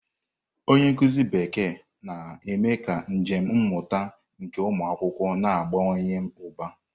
Onye nkuzi Bekee na-eme ka njem mmụta nke ụmụ akwụkwọ na-abawanye ụba.